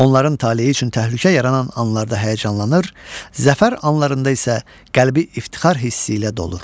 Onların taleyi üçün təhlükə yaranan anlarda həyəcanlanır, zəfər anlarında isə qəlbi iftixar hissi ilə dolur.